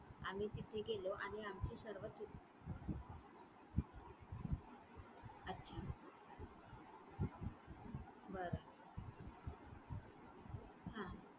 आम्ही तिथे गेलो आणि आम्ही सर्व अच्छा. बरं हां